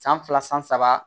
San fila san saba